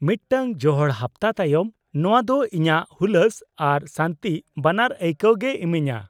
-ᱢᱤᱫᱴᱟᱝ ᱡᱚᱦᱚᱲ ᱦᱟᱯᱛᱟ ᱛᱟᱭᱚᱢ ᱱᱚᱶᱟ ᱫᱚ ᱤᱧᱟᱹᱜ ᱦᱩᱞᱟᱹᱥ ᱟᱨ ᱥᱟᱹᱱᱛᱤ ᱵᱟᱱᱟᱨ ᱟᱹᱭᱠᱟᱹᱣ ᱜᱮᱭ ᱮᱢᱟᱹᱧᱟ ᱾